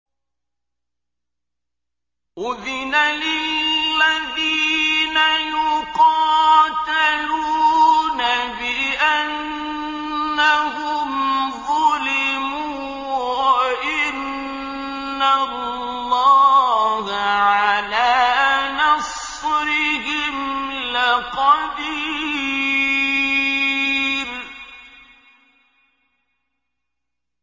أُذِنَ لِلَّذِينَ يُقَاتَلُونَ بِأَنَّهُمْ ظُلِمُوا ۚ وَإِنَّ اللَّهَ عَلَىٰ نَصْرِهِمْ لَقَدِيرٌ